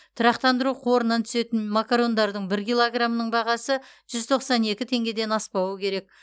тұрақтандыру қорынан түсетін макарондардың бір килограмының бағасы жүз тоқсан екі теңгеден аспауы керек